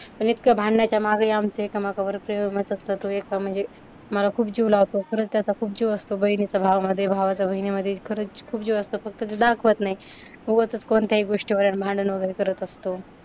पण इतकं भांडणाच्या माघारी आमचे एका म्हणजे मला खूप जीव लावतो. परत त्याचा खूप जीव असतो बहिणीचा भावामध्ये, भावाचा बहिणीमध्ये. खरंच खूप जीव असतो. फक्त ते दाखवत नाही, उगचच कोणत्याही गोष्टीवरुन भांडण वगैरे करत असतो.